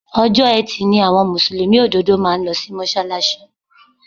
Ọjọ́ Etí ni àwọn Mùsùlùmí òdodo máa ń lo sí Mọ́ṣálásí.